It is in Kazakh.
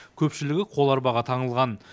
көпшілігі қоларбаға таңылған